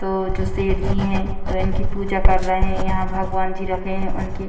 तो जो सेठ जी हैं तो इनकी पूजा कर रहे हैं यहां भगवान जी रखे हैं उनकी।